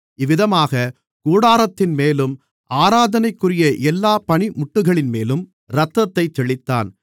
இவ்விதமாக கூடாரத்தின்மேலும் ஆராதனைக்குரிய எல்லாப் பணிமுட்டுகளின்மேலும் இரத்தத்தைத் தெளித்தான்